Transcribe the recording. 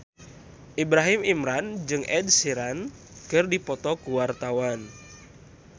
Ibrahim Imran jeung Ed Sheeran keur dipoto ku wartawan